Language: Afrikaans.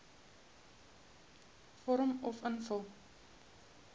vorm uf invul